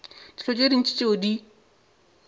dilo tše ntši tšeo di